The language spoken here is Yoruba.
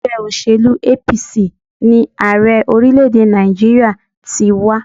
Ègbé òṣèlú APC ni Ààrẹ orílé èdè Nàìjíríà ti wá